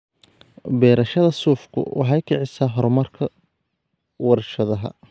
Beerashada suufku waxay kicisaa horumarka warshadaha.